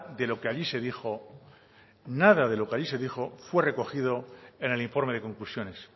de lo que allí se dijo nada de lo que allí se dijo fue recogido en el informe de conclusiones